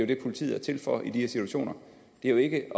det politiet er til for i de her situationer det er jo ikke at